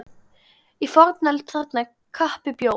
Í fornöld þarna kappi bjó.